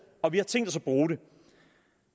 og vi har tænkt os at bruge det